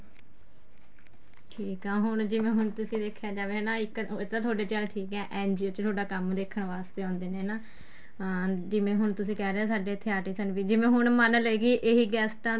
ਠੀਕ ਆ ਹੁਣ ਜਿਵੇਂ ਹੁਣ ਤੁਸੀਂ ਦੇਖਿਆ ਜਾਵੇ ਹਨਾ ਇੱਕ ਏ ਚੱਲ ਤੁਹਾਡੇ ਠੀਕ ਏ NGO ਚ ਤੁਹਾਡਾ ਕੰਮ ਦੇਖਣ ਵਾਸਤੇ ਆਉਦੇ ਨੇ ਨਾ ਅਹ ਜਿਵੇਂ ਹੁਣ ਤੁਸੀਂ ਕਹਿ ਰਹੇ ਹੋ ਸਾਡੇ ਇੱਥੇ artist ਵੀ ਨੇ ਜਿਵੇਂ ਹੁਣ ਮੰਨ ਲਈਏ ਇਹ ਗੈਸਟਾ